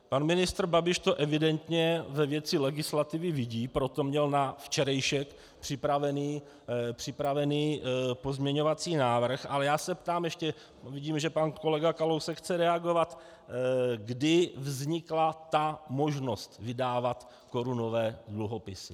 Pan ministr Babiš to evidentně ve věci legislativy vidí, proto měl na včerejšek připraven pozměňovací návrh, ale já se ptám ještě - vidím, že pan Kolega Kalousek chce reagovat -, kdy vznikla ta možnost vydávat korunové dluhopisy.